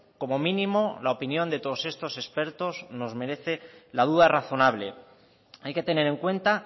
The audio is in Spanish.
como mínimo la opinión de todos estos expertos nos merece la duda razonable hay que tener en cuenta